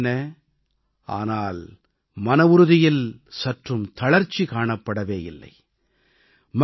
தலைமுறைகள் மாறின ஆனால் மனவுறுதியில் சற்றும் தளர்ச்சி காணப்படவே இல்லை